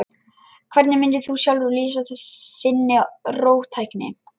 Hvernig mundir þú sjálfur lýsa þinni róttækni?